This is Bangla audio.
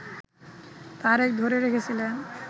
তারেক ধরে রেখেছিলেন